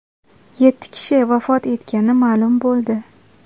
Yetti kishi vafot etgani ma’lum bo‘ldi.